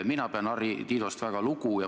Mina pean Harri Tiidost väga lugu.